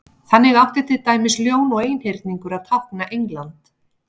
þannig átti til dæmis ljón og einhyrningur að tákna england